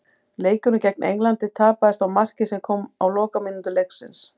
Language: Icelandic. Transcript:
Leikurinn gegn Englandi tapaðist á marki sem kom á lokamínútu leiksins.